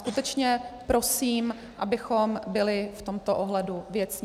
Skutečně prosím, abychom byli v tomto ohledu věcní.